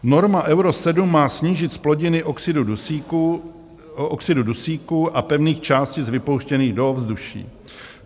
Norma Euro 7 má snížit zplodiny oxidu dusíku a pevných částic vypouštěných do ovzduší.